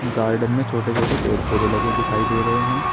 Garden में छोटे छोटे पेड़ पौधे लगे दिखाई दे रहे हैं।